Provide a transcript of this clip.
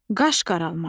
Qaş qaralmaq.